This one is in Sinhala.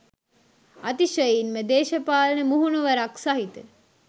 අතිශයින්ම දේශපාලන මුහුණුවරක් සහිත